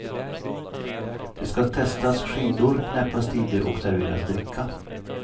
Det ska testas skidor, knäppas tider och serveras dricka.